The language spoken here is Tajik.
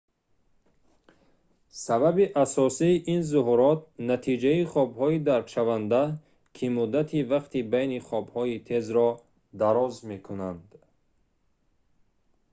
сабаби асосии ин зуҳурот натиҷаи хобҳои даркшаванда ки муддати вақти байни хобҳои тезро дароз мекунанд